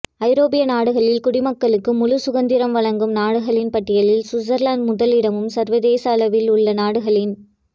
ஐரோப்பிய நாடுகளில் குடிமக்களுக்கு முழு சுதந்திரம் வழங்கும் நாடுகளின் பட்டியலில் சுவிட்சர்லாந்து முதல் இடமும் சர்வதேச அளவில் உள்ள நாடுகளின்